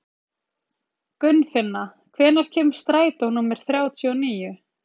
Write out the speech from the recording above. Gunnfinna, hvenær kemur strætó númer þrjátíu og níu?